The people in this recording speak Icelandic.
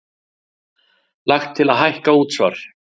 Lagt til að hækka útsvar